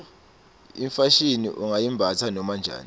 ifashini ungayimbatsa noma njani